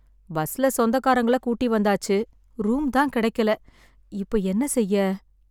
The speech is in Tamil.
பஸ்ல சொந்தகாரங்களை கூட்டி வந்தாச்சு. ரூம் தான் கிடைக்கல. இப்ப என்ன செய்ய?